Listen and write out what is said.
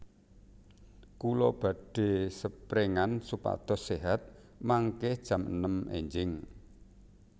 Kula badhe seprengan supados sehat mangke jam enem enjing